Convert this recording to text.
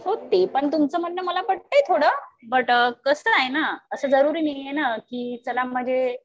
हो ते पण तुमचं म्हणणं मला पटतंय थोडं. पण कसं आहे ना असं जरुरी नाही ना कि चला म्हणजे